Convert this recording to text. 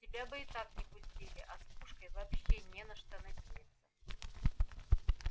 тебя бы и так не пустили а с пушкой вообще не на что надеяться